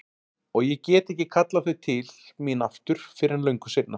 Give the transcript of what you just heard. Og ég get ekki kallað þau til mín aftur fyrr en löngu seinna.